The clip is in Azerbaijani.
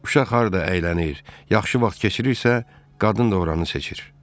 Uşaq harda əylənir, yaxşı vaxt keçirirsə, qadın da oranı seçir.